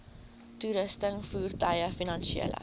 toerusting voertuie finansiële